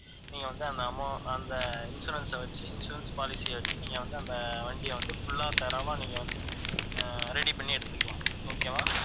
நீங்க வந்து அந்த, அந்த insurance அ வச்சு, insurance policy எடுத்து, நீங்க வந்து அந்த வண்டிய வந்து full ஆ, thorough வா வந்து, ஆஹ் ready பண்ணி எடுத்துக்கலாம் okay வா